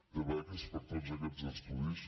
de beques per a tots aquests estudis